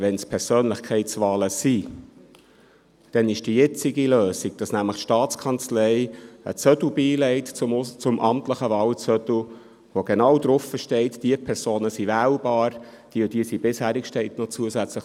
Wenn es Persönlichkeitswahlen sind, dann ist die jetzige Lösung, wonach nämlich die Staatskanzlei dem amtlichen Wahlzettel einen Zettel beilegt, auf welchem genau steht, welche Personen wählbar sind, sowie zusätzlich, welche Personen bisherig sind.